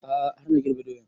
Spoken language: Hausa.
A'a har na girbe doyan